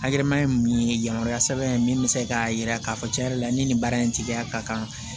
Hakilina ye min ye yamaruya sɛbɛn ye min bɛ se k'a jira k'a fɔ tiɲɛ yɛrɛ la ni nin baara in tigiya ka kan